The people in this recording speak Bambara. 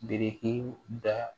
Biriki da